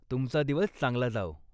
तुमचा दिवस चांगला जाओ.